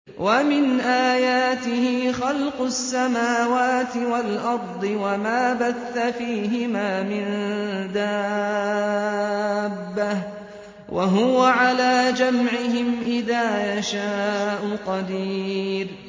وَمِنْ آيَاتِهِ خَلْقُ السَّمَاوَاتِ وَالْأَرْضِ وَمَا بَثَّ فِيهِمَا مِن دَابَّةٍ ۚ وَهُوَ عَلَىٰ جَمْعِهِمْ إِذَا يَشَاءُ قَدِيرٌ